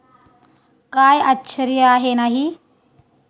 काय आश्चर्य आहे नाही?